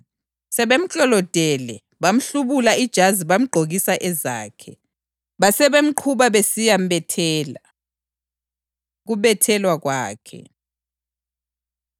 Sebemklolodele, bamhlubula ijazi bamgqokisa ezakhe. Basebemqhuba besiya mbethela. Ukubethelwa Kwakhe